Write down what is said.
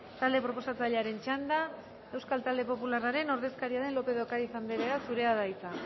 talde proposatzailearen txanda euskal talde popularraren ordezkaria den lopez de ocariz anderea zurea da hitza